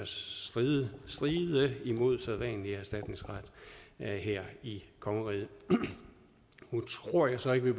stride imod sædvanlig erstatningsret her i kongeriget nu tror jeg så ikke at